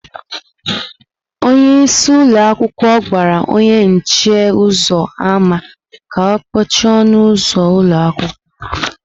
Onye isi ụlọ akwụkwọ gwara onye nche ụzọ ámá ka ọ kpọchie ọnụ ụzọ ụlọ akwụkwọ.